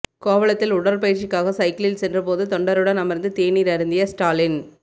கோவளத்தில் உடற்பயிற்சிக்காக சைக்கிளில் சென்றபோது தொண்டருடன் அமர்ந்து தேநீர் அருந்திய ஸ்டாலின்